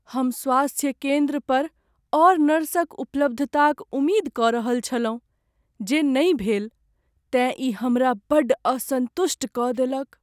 "हम स्वास्थ्य केंद्र पर आओर नर्सक उपलब्धताक उम्मीद कऽ रहल छलहुँ जे नहि भेल, तेँ ई हमरा बड्ड असंतुष्ट कऽ देलक"।